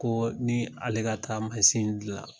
Ko ni ale ka taa masin dilan